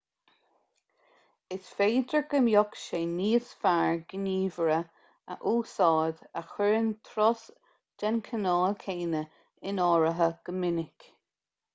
is féidir go mbeadh sé níos fearr gníomhaire a úsáid a chuireann turais den chineál céanna in áirithe go minic